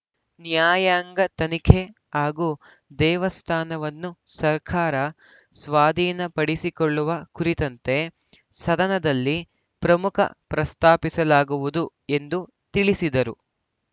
ನ್ಯಾಯಾಂಗ ತನಿಖೆ ಹಾಗೂ ದೇವಸ್ಥಾನವನ್ನು ಸರ್ಕಾರ ಸ್ವಾಧೀನಪಡಿಸಿಕೊಳ್ಳುವ ಕುರಿತಂತೆ ಸದನದಲ್ಲಿ ಪ್ರಮುಖ ಪ್ರಸ್ತಾಪಿಸಲಾಗುವುದು ಎಂದು ತಿಳಿಸಿದರು